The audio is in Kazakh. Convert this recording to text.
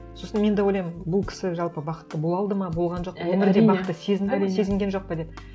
сосын мен де ойлаймын бұл кісі жалпы бақытты бола алды ма болған жоқ па өмірде бақытты сезінді ме сезінген жоқ па деп